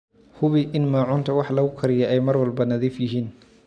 Hubi in maacuunta wax lagu kariyo ay mar walba nadiif yihiin.